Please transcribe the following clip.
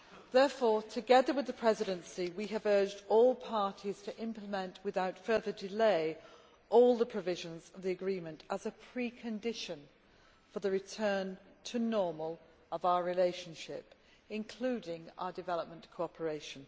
Therefore, together with the Presidency, we have urged all parties to implement without further delay all the provisions of the agreement as a precondition for the return to normal of our relationship, including our development cooperation.